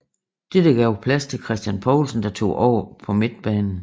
Dette gav plads til Christian Poulsen der tog over på midtbanen